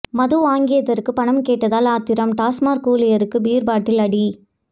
மது வாங்கியதற்கு பணம் கேட்டதால் ஆத்திரம் டாஸ்மாக் ஊழியருக்கு பீர் பாட்டில் அடி